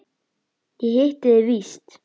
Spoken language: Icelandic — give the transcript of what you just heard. Ég hitti þig víst!